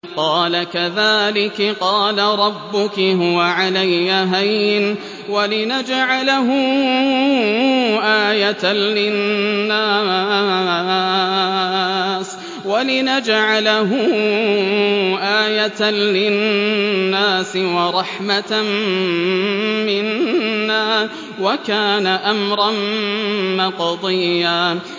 قَالَ كَذَٰلِكِ قَالَ رَبُّكِ هُوَ عَلَيَّ هَيِّنٌ ۖ وَلِنَجْعَلَهُ آيَةً لِّلنَّاسِ وَرَحْمَةً مِّنَّا ۚ وَكَانَ أَمْرًا مَّقْضِيًّا